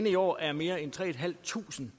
i år er mere end tre tusind